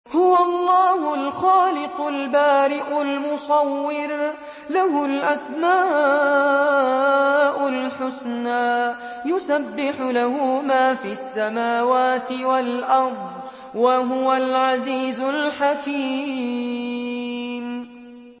هُوَ اللَّهُ الْخَالِقُ الْبَارِئُ الْمُصَوِّرُ ۖ لَهُ الْأَسْمَاءُ الْحُسْنَىٰ ۚ يُسَبِّحُ لَهُ مَا فِي السَّمَاوَاتِ وَالْأَرْضِ ۖ وَهُوَ الْعَزِيزُ الْحَكِيمُ